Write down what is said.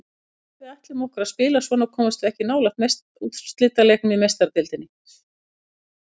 Ef að við ætlum okkur að spila svona komumst við ekki nálægt úrslitaleiknum í Meistaradeildinni.